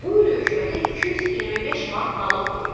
Bu il hökumətə 225 manat naloq verib.